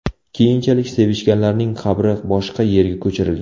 Keyinchalik sevishganlarning qabri boshqa yerga ko‘chirilgan.